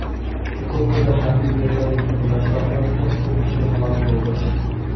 Chukotkada harbiy vertolyotning qulashi oqibatida to‘rt kishi halok bo‘ldi.